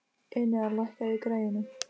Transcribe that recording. Enea, lækkaðu í græjunum.